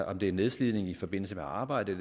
om det er nedslidning i forbindelse med arbejde